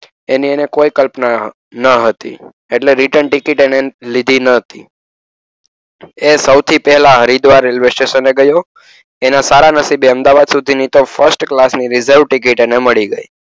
એની એને કોઈ કલ્પના ન હતી. એટલે return ticket એને લીધી ન હતી. એ સૌથી પહેલા હરિદ્વાર રેલ્વે સ્ટેશન એ ગયો. એના સારા નસીબે અમદાવાદ સુધીની first class reserve ટિકિટ એને મળી ગઈ.